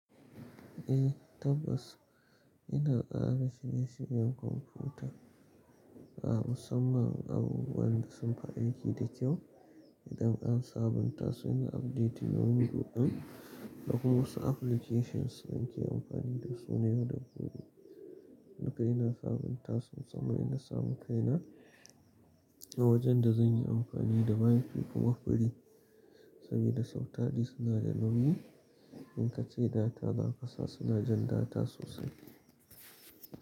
Eh tabbas ina tsara shirye-shiryen kwamfuta a musamman abubuwan da sunfi aiki da kyau idan an sabunta su, ina update window ɗin da kuma wasu applications zan ke amfani da su yau da gobe. Duka ina sabunta su musamman in na samu kaina a wajan da zan yi amfani da WI-FI kuma free. Sabida sau tari suna da nauyi in kace data za ka sa suna jan data sosai.